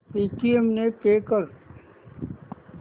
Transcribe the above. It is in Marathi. पेटीएम ने पे कर